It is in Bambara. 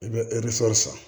I bɛ san